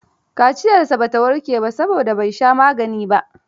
Kaciyarsa ba ta warke ba, saboda bai sha magani ba